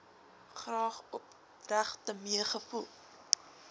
graag opregte meegevoel